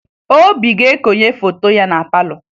Obi ga-ekonye foto ya na palọ